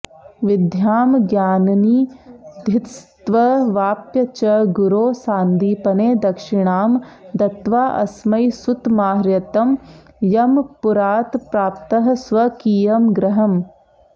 विद्यां ज्ञाननिधिस्त्ववाप्य च गुरोः सान्दीपने दक्षिणां दत्वाऽस्मै सुतमाहृतं यमपुरात्प्राप्तः स्वकीयं गृहम्